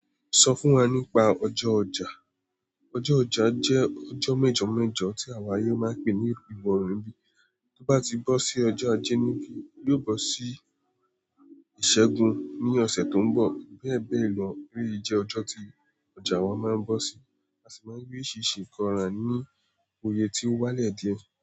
Sọ fún wa nípa ọjọ́ ọjà. Ọjọ́ ọjà jẹ́ ọjọ́ mẹ́jọ mẹ́jọ tí àwa yóò máa ń pe ní ìbọ̀rùn ni bí. Tó bá ti bọ́ sí ọjọ́ ajé nìbí, yóò bọ́ sí Ìṣẹ́gun ní ọ̀sẹ̀ tó ń bọ̀. Bẹ́ẹ̀ bẹ́ẹ̀ lọ, elèyí jẹ ọjọ́ tí ọjà wa máa ń bọ́ sí. A sì máa rí oriṣiriṣi nkan rà ní oye tí ó wálẹ̀ díẹ̀.